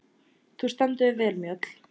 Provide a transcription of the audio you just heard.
Þú stendur þig vel, Mjöll!